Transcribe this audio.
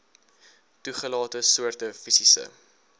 toegelate soorte fisiese